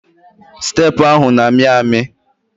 Steepụ ahụ na-amị amị.